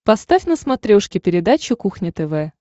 поставь на смотрешке передачу кухня тв